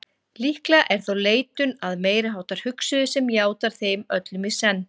Líklega er þó leitun að meiriháttar hugsuði sem játar þeim öllum í senn.